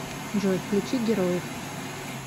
джой включи героев